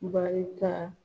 Baarita